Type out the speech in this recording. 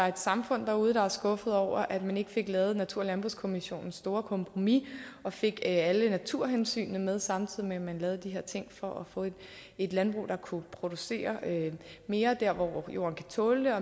et samfund derude der er skuffede over at man ikke fik lavet natur og landbrugskommissionens store kompromis og fik alle naturhensynene med samtidig med at man lavede de her ting for at få et landbrug der kunne producere mere der hvor jorden kan tåle